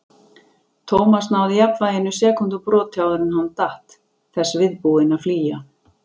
Thomas náði jafnvæginu sekúndubroti áður en hann datt, þess viðbúinn að flýja.